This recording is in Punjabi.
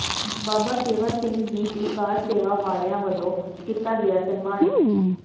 ਬਾਬਾ ਸੇਵਾ ਸਿੰਘ ਜੀ ਕਾਰ ਸੇਵਾ ਵਾਲਿਆਂ ਵੱਲੋਂ ਕੀਤਾ ਗਿਆ ਸਨਮਾਨਿਤ